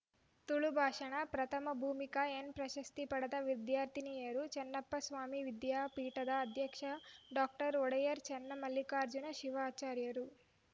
ತುಳು ಭಾಷಣ ಪ್ರಥಮ ಭೂಮಿಕಾ ಎನ್‌ ಪ್ರಶಸ್ತಿ ಪಡೆದ ವಿದ್ಯಾರ್ಥಿನಿಯರನ್ನು ಚನ್ನಪ್ಪಸ್ವಾಮಿ ವಿದ್ಯಾಪೀಠದ ಅಧ್ಯಕ್ಷ ಡಾಕ್ಟರ್ ಒಡೆಯರ್‌ ಚನ್ನಮಲ್ಲಿಕಾರ್ಜುನ ಶಿವಾಚಾರ್ಯರು